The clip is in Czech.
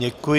Děkuji.